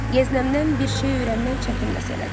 Yeznəmdən bir şey öyrənmək çətin məsələdir.